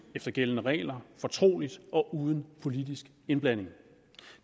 efter gældende regler fortroligt og uden politisk indblanding